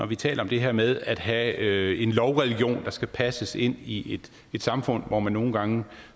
vi taler om det her med at have en lovreligion der skal passes ind i et samfund hvor man nogle gange